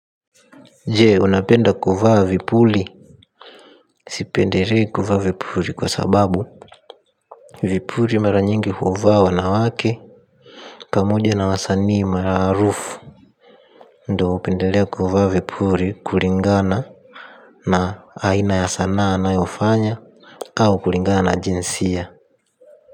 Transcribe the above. Jee unapenda kuvaa vipuli. Sipenderei kuvaa vipuli kwa sababu vipuli mara nyingi huvawa na wake. Pamoja na wasanii maraarufu ndo upendelea kuvaa vipuli kulingana na aina ya sanaa anayofanya au kulingana na jinsia.